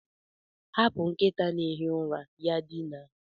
Hapụ nkịta na-ehi ụra ya dinaa